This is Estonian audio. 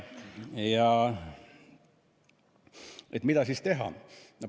Ja mida siis teha?